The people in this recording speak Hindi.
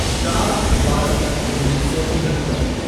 चार बारह उन्नीस सौ तिहत्तर